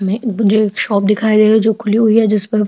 में gents shop दिखाई दे रही है जो खुली हुई है जिस पर --